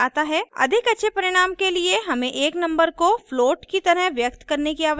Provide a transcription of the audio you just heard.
अधिक अच्छे परिणाम के लिए हमें एक नंबर को फ्लोट की तरह व्यक्त करने की आवश्यकता है